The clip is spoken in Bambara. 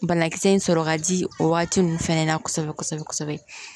Banakisɛ in sɔrɔ ka di o waati ninnu fana na kosɛbɛ kosɛbɛ